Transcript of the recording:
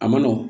A ma nɔgɔn